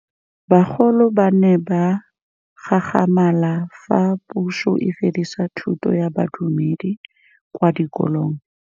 Bagolo ba ne ba gakgamala fa Pusô e fedisa thutô ya Bodumedi kwa dikolong.